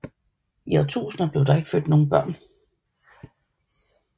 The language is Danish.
I årtusinder blev der ikke født nogen børn